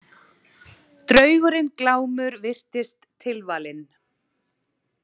Draugurinn Glámur virtist tilvalinn.